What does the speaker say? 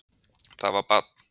Það var barn